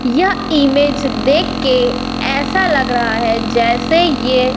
यह इमेज देख के ऐसा लग रहा है जैसे ये--